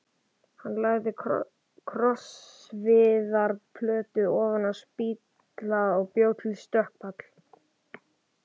Hann lagði krossviðarplötu ofan á spýtnahlaða og bjó til stökkpall.